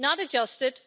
Not adjusted!